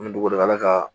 Ni dugula ka